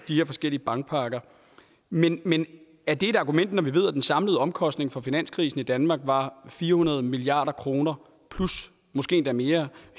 de her forskellige bankpakker men men er det et argument når vi ved at den samlede omkostning for finanskrisen i danmark var fire hundrede milliard kroner plus måske endda mere